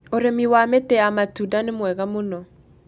ũrĩmi wa mĩtĩ ya matũnda nĩ mwega mũno